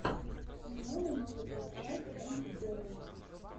светлана новикова трак энд герл